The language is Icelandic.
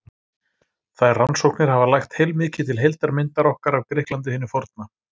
Þær rannsóknir hafa lagt heilmikið til heildarmyndar okkar af Grikklandi hinu forna.